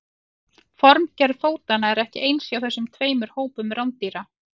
formgerð fótanna er ekki eins hjá þessum tveimur hópum rándýra